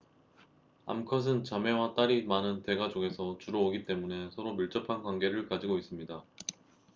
암컷은 자매와 딸이 많은 대가족에서 주로 오기 때문에 서로 밀접한 관계를 가지고 있습니다